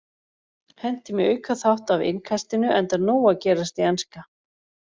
Hentum í aukaþátt af Innkastinu enda nóg að gerast í enska.